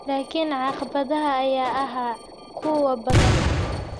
Laakiin caqabadaha ayaa ahaa kuwo badan.